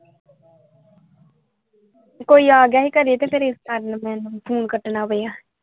ਕੋਈ ਆ ਗਿਆ ਸੀ ਘਰੇ ਤੇ ਫਿਰ ਇਸ ਕਾਰਣ ਮੈਨੂੰ ਫ਼ੋਨ ਕੱਟਣਾ ਪਿਆ।